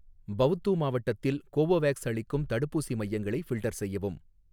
பவ்து மாவட்டத்தில் கோவோவேக்ஸ் அளிக்கும் தடுப்பூசி மையங்களை ஃபில்டர் செய்யவும்.